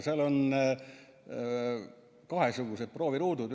Seal on kahesugused prooviruudud.